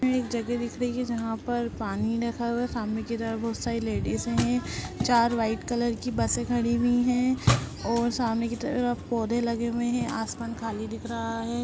यह एक जगह दिख रही है जहाँ पर पानी रखा हुआ है सामने की तरफ बहुत सारी लेडिजे है चार व्हाइट कलर की बसे खड़ी हुई है और सामने की तरफ पौधे लगे हुए है आसमान खाली दिख रहा है।